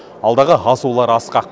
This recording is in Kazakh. алдағы асулар асқақ